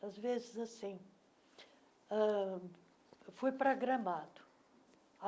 Às vezes, assim... ãh Fui para Gramado.